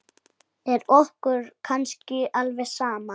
Er okkur kannski alveg sama?